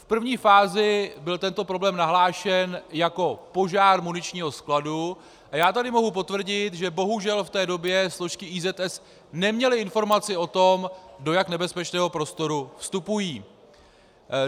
V první fázi byl tento problém nahlášen jako požár muničního skladu a já tady mohu potvrdit, že bohužel v té době složky IZS neměly informaci o tom, do jak nebezpečného prostoru vstupují.